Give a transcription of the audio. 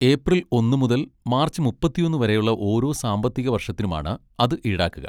April ഒന്ന് മുതൽ March മുപ്പത്തിയൊന്ന് വരെയുള്ള ഓരോ സാമ്പത്തിക വർഷത്തിനുമാണ് അത് ഈടാക്കുക.